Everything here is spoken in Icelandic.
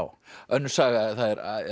önnur saga það er